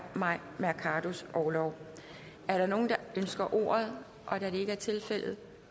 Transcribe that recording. mai mercados orlov er der nogen der ønsker ordet da det ikke er tilfældet